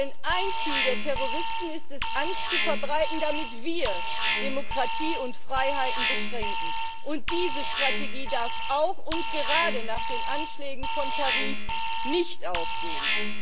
Denn ein Ziel der Terroristen ist es, Angst zu verbreiten damit wir Demokratie und Freiheiten beschränken, und diese Strategie darf auch und gerade nach den Anschlägen von Paris nicht aufgehen.